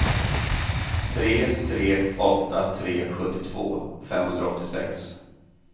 tre tre åtta tre sjuttiotvå femhundraåttiosex